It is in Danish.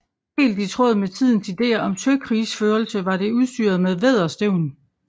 Helt i tråd med tidens ideer om søkrigsførelse var det udstyret med vædderstævn